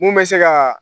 Mun bɛ se ka